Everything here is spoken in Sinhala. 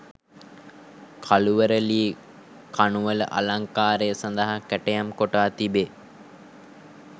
කළුවර ලී කණු වල අලංකාරය සඳහා කැටයම් කොටා තිබේ.